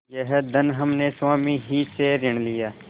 यह धन हमने स्वामी ही से ऋण लिया